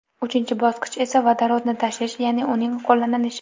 Uchinchi bosqich esa vodorodni tashish, ya’ni uning qo‘llanilishi.